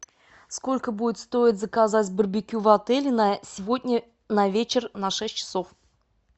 сколько будет стоить заказать барбекю в отеле на сегодня на вечер на шесть часов